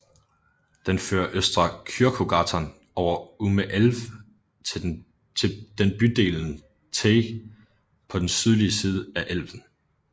Den fører Östra Kyrkogatan over Ume älv til den bydelen Teg på den sydlige side af af elven